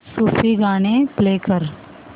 सूफी गाणी प्ले कर